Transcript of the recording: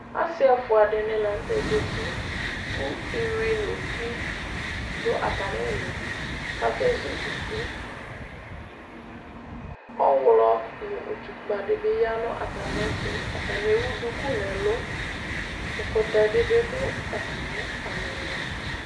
Asi ɛfʋa dini la nʋ tɛ zǝti, kʋ ɩyʋi nʋ uti dʋ atami ili, kʋ akezu fufui Ɔɣlɔ nʋ ɩtʋkpǝ dɩ bɩ ya nʋ atami ɛtʋ Atani ewu duku nʋ ɛlʋ Ɛkɔtɔ dɩbɩ dʋ atami alɔnʋ